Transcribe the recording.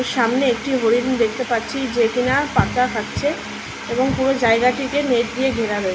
সামনে একটি হরিণ দেখতে পাচ্ছি যে কিনা পাতা খাচ্ছে এবং পুরো জায়গাটিকে নেট দিয়ে ঘেরা রয়েছে।